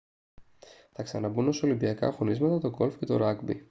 θα ξαναμπούν ως ολυμπιακά αγωνίσματα το golf και το rugby